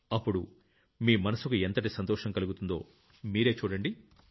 అప్పుడు మీ మనసుకు ఎంతటి సంతోషం కలుగుతుందో మీరే చూడండి